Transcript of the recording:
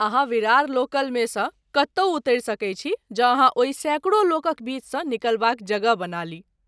अहाँ विरार लोकलमेसँ कतहु उतरि सकैत छी जँ अहाँ ओहि सैकड़ो लोकक बीचसँ निकलबाक जगह बना ली।